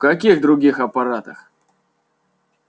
в каких других аппаратах